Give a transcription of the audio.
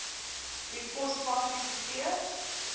wie kospakkies gegee